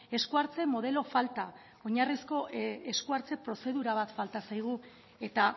esku hartze modelo falta oinarrizko esku hartze prozedura bat falta zaigu eta